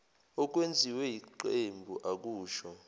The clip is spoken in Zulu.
okwenziwe yiqembu akusho